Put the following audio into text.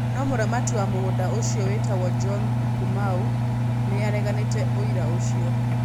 No mũramati wa mũgũnda ũcio wĩtagwo John Kumau nĩ areganĩte ũira ũcio.